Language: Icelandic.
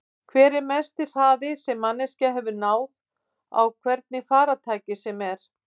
Hver er mesti hraði sem manneskja hefur náð á hvernig farartæki sem er?